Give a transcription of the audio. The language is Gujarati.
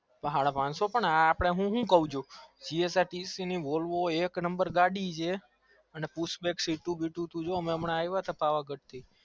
હર પંચો હું હુઉ છુ એક number ગાડી સે